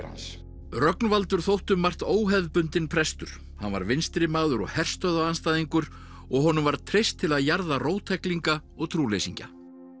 hans Rögnvaldur þótti um margt óhefðbundinn prestur hann var vinstrimaður og herstöðvaandstæðingur og honum var treyst til að jarða róttæklinga og trúleysingja